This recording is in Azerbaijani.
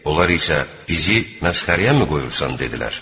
Onlar isə bizi məsxərəyəmi qoyursan dedilər.